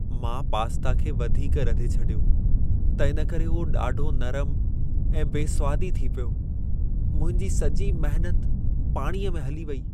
मां पास्ता खे वधीक रधे छॾियो, त इन करे उहो ॾाढो नरम ऐं बेस्वादी थी पियो। मुंहिंजी सॼी महिनत पाणीअ में हली वेई।